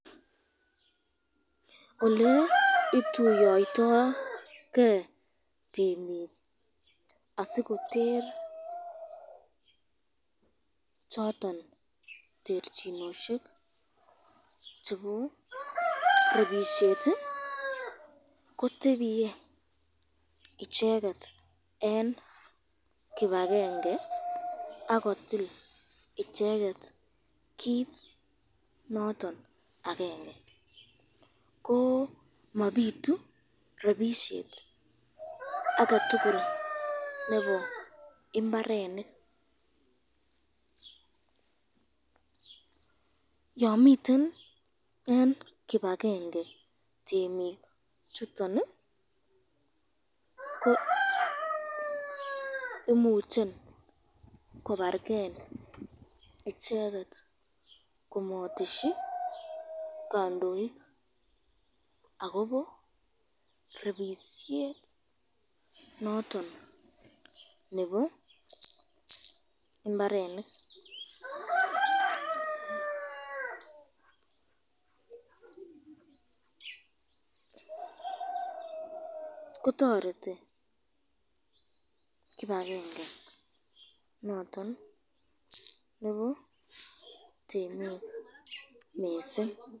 Oleotuyoiyto ken temik adikoter choton terchinosyek chebo rebisyet ko tebiye icheket eng kibakenge akotil icheket kit noton akenge, ko mabitu rebisyet aketukul nebo imbarenik, yon miten eng kipakenge temik chuton ko imuche kobareken icheket komatesyi kandoik, akobo rebisyet noton nebo imbarenik , kotoreti kibakenge noton nebo temik mising.